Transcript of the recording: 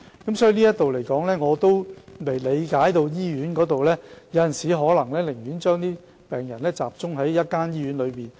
就此，我亦理解到院方有時可能寧願將病人集中在一間醫院。